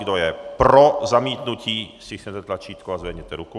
Kdo je pro zamítnutí, stiskněte tlačítko a zvedněte ruku.